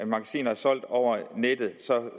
magasiner solgt over nettet